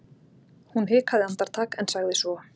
Hún hikaði andartak en sagði svo